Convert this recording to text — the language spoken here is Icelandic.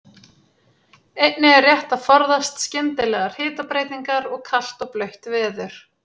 Einnig er rétt að forðast skyndilegar hitabreytingar og kalt og blautt veður.